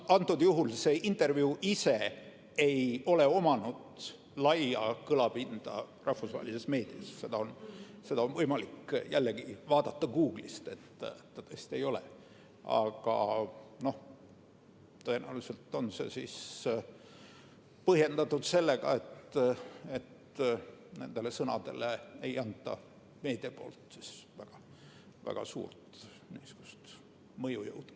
Praegusel juhul ei ole intervjuu ise saanud laia kõlapinda rahvusvahelises meedias – seda on jällegi võimalik Google'ist järele vaadata, et ta tõesti ei ole –, aga tõenäoliselt on see põhjendatud sellega, et nendele sõnadele anna meedia väga suurt mõjujõudu.